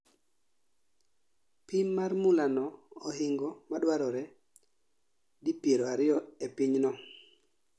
Pim mar mula no ohingo maduarore di piero ariyo e pinyno